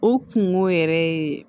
O kungo yɛrɛ ye